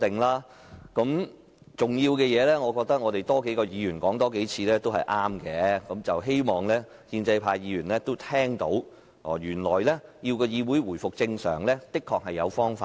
我覺得這事很重要，所以需要多位議員多說幾次，我也希望建制派議員聽到，原來要議會回復正常是有方法的。